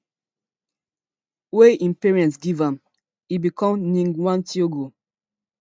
wey im parents give am e become ngg wa thiongo